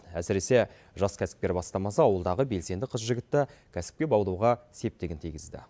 әсіресе жас кәсіпкер бастамасы ауылдағы белсенді қыз жігітті кәсіпке баулуға септігін тигізді